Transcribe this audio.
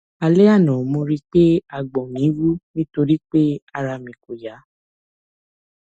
lálẹ àná mo rí pé àgbọn mi wú nítorí pé ara mi kò yá